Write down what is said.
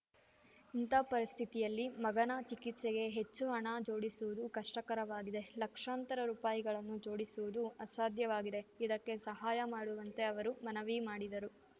ಇಂಥ ಪರಿಸ್ಥಿತಿಯಲ್ಲಿ ಮಗನ ಚಿಕಿತ್ಸೆಗೆ ಹೆಚ್ಚು ಹಣ ಜೋಡಿಸುವುದು ಕಷ್ಟಕರವಾಗಿದೆ ಲಕ್ಷಾಂತರ ರುಪಾಯಿಗಳನ್ನು ಜೋಡಿಸುವುದು ಅಸಾಧ್ಯವಾಗಿದೆ ಇದಕ್ಕೆ ಸಹಾಯ ಮಾಡುವಂತೆ ಅವರು ಮನವಿ ಮಾಡಿದರು